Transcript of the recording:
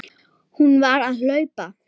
Hún varð að hlaupa.